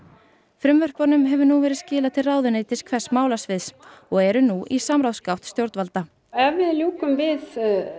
frumvörpunum hefur nú verið skilað til ráðuneytis hvers málasviðs og eru nú í samráðsgátt stjórnvalda ef við ljúkum við